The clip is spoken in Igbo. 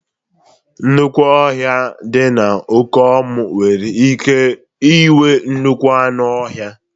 Nnukwu ọhia dị na Okomu nwere ike inwee nnukwu anụ ọhịa